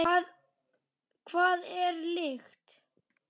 Hvað er lykt?